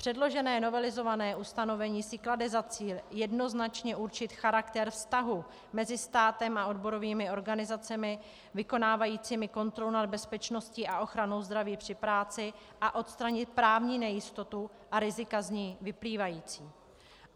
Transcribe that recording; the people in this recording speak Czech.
Předložené novelizované ustanovení si klade za cíl jednoznačně určit charakter vztahu mezi státem a odborovými organizacemi vykonávajícími kontrolu nad bezpečností a ochranou zdraví při práci a odstranit právní nejistotu a rizika z ní vyplývající.